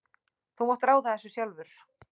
Þú mátt ráða þessu sjálfur.